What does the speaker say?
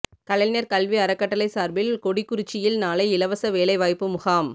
கலைஞர் கல்வி அறக்கட்டளை சார்பில் கொடிக்குறிச்சியில் நாளை இலவச வேலை வாய்ப்பு முகாம்